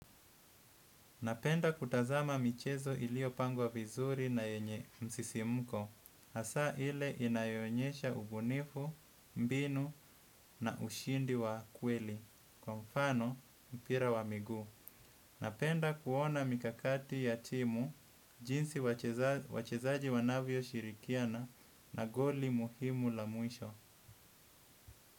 Napenda kutazama michezo iliyopangwa vizuri na yenye msisimko, hasa ile inayoonyesha ubunifu, mbinu na ushindi wa kweli, kwa mfano mpira wa miguu. Napenda kuona mikakati ya timu, jinsi wachezaji wanavyoshirikiana na goli muhimu la mwisho.